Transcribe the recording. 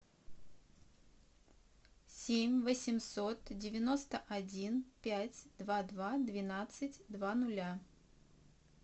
семь восемьсот девяносто один пять два два двенадцать два нуля